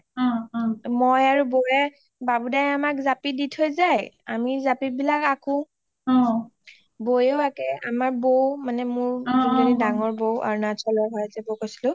মই আৰু বৌৱে বাবু দাদাই আমাক জাপি দি থৈ যায় আমি জপি বিলাক আকো অ বৌয়ে আঁকে আমাৰ বৌ মানে আমাৰ যোনজনি ডাঙৰ বৌ অৰুণাচল ৰ হয় মই যে কৈছিলো